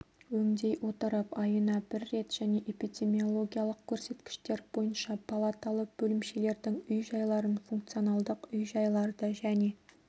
өңдей отырып айына бір рет және эпидемиологиялық көрсеткіштер бойынша палаталы бөлімшелердің үй-жайларын функционалдық үй-жайларды және